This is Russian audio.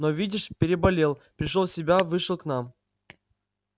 но видишь переболел пришёл в себя вышел к нам